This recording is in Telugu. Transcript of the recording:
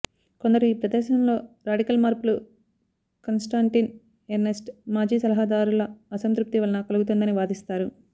కొందరు ఈ ప్రదర్శనలో రాడికల్ మార్పులు కాన్స్టాంటిన్ ఎర్నస్ట్ మాజీ సలహాదారుల అసంతృప్తి వలన కలుగుతుందని వాదిస్తారు